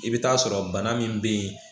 I bɛ taa sɔrɔ bana min bɛ yen